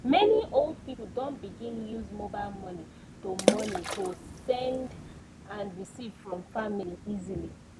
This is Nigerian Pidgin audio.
many old people don begin use mobile money to money to send and receive from family easily